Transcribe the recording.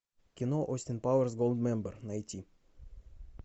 кино остин пауэрс голдмембер найти